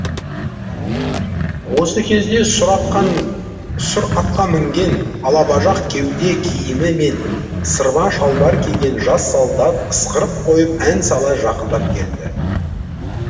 осы кезде сұр атқа мінген алабажақ кеуде киімі мен сырма шалбар киген жас солдат ысқырып қойып ән сала жақындап келді